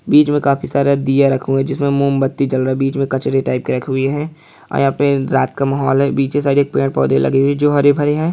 बीच मे काफी सारा दिया रखा हुआ है जिसमे मोमबत्ती जल रहा है बीच मे कचरे टाइप रखे हुये हैं| आया पेड़ रात का महोल है पीछे सारे पेड़-पोधे लगे हुए है जो हरे-भरे हैं।